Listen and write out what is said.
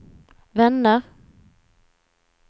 vänner